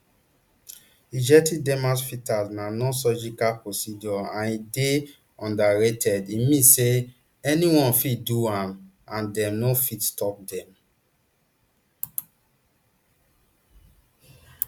injecting dermal fillers na nonsurgical procedure and e dey unregulated e mean say anyone fit do am and dem no fit stop dem